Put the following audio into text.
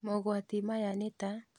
Mogwati maya nĩ ta: